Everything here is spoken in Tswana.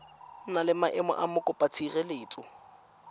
na le maemo a mokopatshireletso